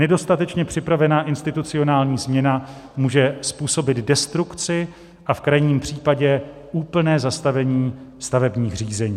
Nedostatečně připravená institucionální změna může způsobit destrukci a v krajním případě úplné zastavení stavebních řízení."